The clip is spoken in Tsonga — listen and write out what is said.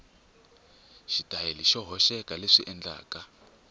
xitayili xo hoxeka leswi endlaka